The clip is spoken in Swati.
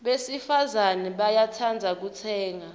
besifazana bayatsandza kutsenga